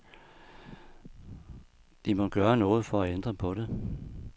De må gøre noget for at ændre på det.